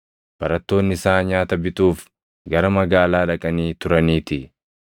Barattoonni isaa nyaata bituuf gara magaalaa dhaqanii turaniitii.